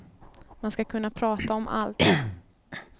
Man ska kunna prata om allt.